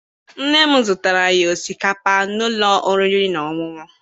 Nne m zụtaara anyị osikapa n'ụlọ oriri na ọṅụṅụ.